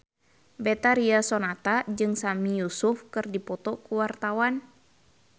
Betharia Sonata jeung Sami Yusuf keur dipoto ku wartawan